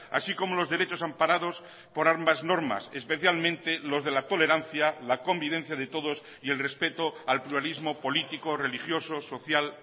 así como los derechos amparados por ambas normas especialmente los de la tolerancia la convivencia de todos y el respeto al pluralismo político religiosos social